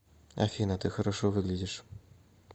афина ты хорошо выглядишь